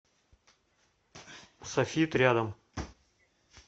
софит рядом